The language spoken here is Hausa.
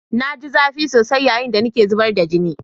Na ji zafi sosai yayin da nake zubar da jini.